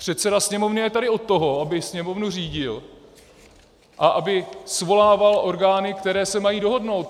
Předseda Sněmovny je tady od toho, aby Sněmovnu řídil a aby svolával orgány, které se mají dohodnout.